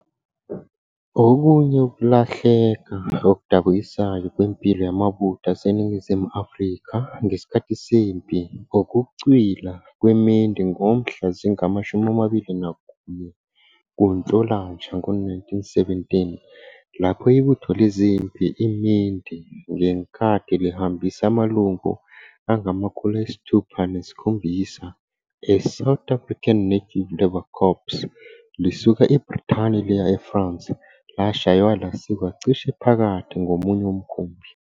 Okunye ukulahleka okudabukisayo kwempilo yamabutho aseNingizimu Afrika ngesikhathi sempi ukucwila kweMendi ngomhla zingama-21 kuNhlolanja ngo-1917, lapho ibutho lezempi iMendi - ngenkathi lihambisa amalungu angama-607 eSouth African Native Labour Corps lisuka eBrithani liya eFrance - lashaywa lasikwa cishe phakathi ngomunye umkhumbi.